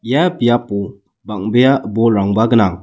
ia biapo bang·bea bolrangba gnang.